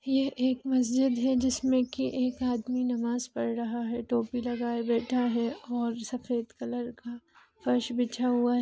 यह एक मस्जिद है जिसमें की एक आदमी नमाज़ पड़ रहा है टोपी लगाए बैठा है और सफेद कलर का फर्श बिछा हुआ--